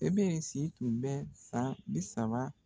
O bɛɛ de si tun bɛ san bi saba.